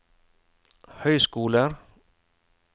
høyskoler